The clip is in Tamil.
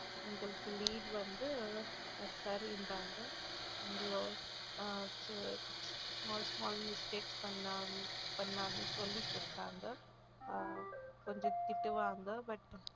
எங்களுக்கு lead வந்து small small mistakes பண்ணாங்கன்னு சொல்லிகொடுத்தாங்க ஆஹ் கொஞ்சம் திட்டுவாங்க but